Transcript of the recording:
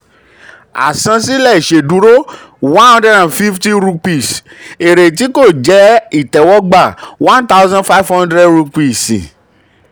àsansílẹ̀ ìṣèdúró cs] one hundred and fifty rupees; èrè tí kò jẹ́ ìtẹwọ́gbà one thousand five hundred rupees